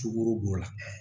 Sukoro b'o la